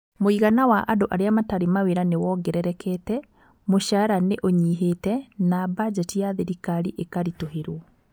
Mũigana wa andũ arĩa matarĩ mawĩra nĩ wongererekete, mũcara nĩ ũnyihĩte, na badgeti ya thirikari ĩkaritũhĩrwo.